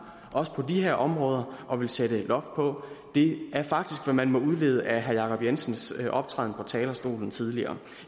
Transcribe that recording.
også på de her områder og vil sætte et loft på det er faktisk hvad man må udlede af herre jacob jensens optræden på talerstolen tidligere